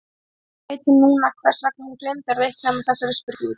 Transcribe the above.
Ekki veit hún núna hvers vegna hún gleymdi að reikna með þessari spurningu.